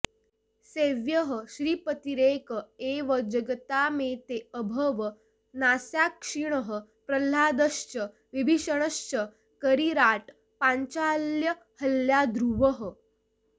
सेव्यः श्रीपतिरेक एव जगतामेतेऽभवन्साक्षिणः प्रह्लादश्च विभीषणश्च करिराट् पाञ्चाल्यहल्याध्रुवः